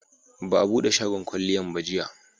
Ba a bude shagon kwalliyan ba jiya